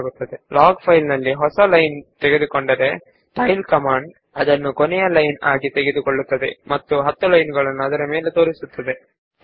ಒಂದು ವೇಳೆ log file ಗೆ ಒಂದು ಹೊಸ ಸಾಲು ಸೇರಿಕೊಂಡರೆ ಟೈಲ್ ಕಮಾಂಡ್ ಅದನ್ನು ಕೊನೆಯ ಸಾಲು ಎಂದು ಪರಿಗಣಿಸಿ ಡೀಫಾಲ್ಟ್ ಆಗಿ ಅದರ ಮೇಲಿನ 10 ಸಾಲುಗಳನ್ನು ಪ್ರದರ್ಶಿಸುತ್ತದೆ